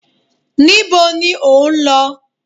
níbo ni o n lo?